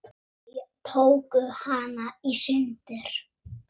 Þeir tóku hana í sundur.